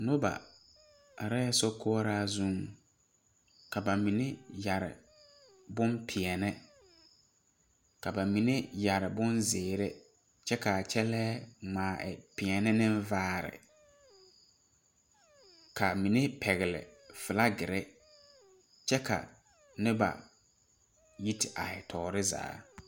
Noba areɛɛ sokoɔraa zuŋ ka ba mine yɛre bonpèɛɛne ka ba mine yɛre bonzeere kyɛ ka ba kyɛlɛɛ ngmaa pèɛɛne neŋ vaare ka mine pɛgle flagirre kyɛ ka noba yi te aihi toore zaa.